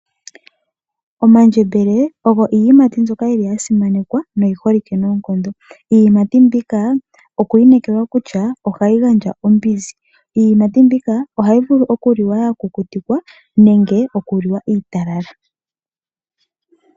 Omandjembele ogo iiyimati mbyoka yili ya simanekwa noyi holike noonkondo. Iiyimati mbika okwa inekelelwa kutya ohayi gandja ombinzi. Iiyimati mbika ohayi vulu okuliwa ya kukutikwa nenge oku liwa iitalala.